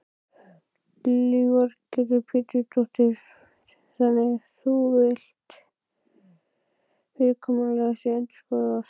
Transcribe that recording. Lillý Valgerður Pétursdóttir: Þannig þú villt að fyrirkomulag sé endurskoðað?